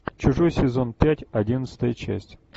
чужой сезон пять одиннадцатая часть